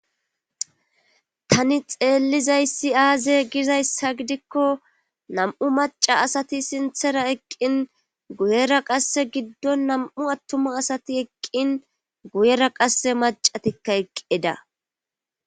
Tani xeellizayssi aaze gizayssa gidikko nam7u maca asati sinthera eqqin guyera qasse giddon nam7u attuma asati eqqin guyera qasse macatikka eqqida